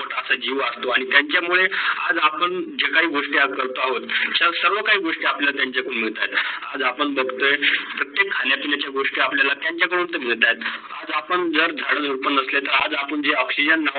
त्यांचा जीव वाचतो आणी त्यांचा मुढे आज आपण जे काही गोष्टी करतो आहोत, ते काही सर्व काही गोष्टी आपल्याला त्यांचा कडून मिडतात. आज आपण बगतोय प्रत्येक खान -पिणे चे गोष्ट आपल्याला त्यांचा कडून मिडतायेत. आपण जर झाड - झुडपे नसते तर आज् आपण जे ऑक्सिजन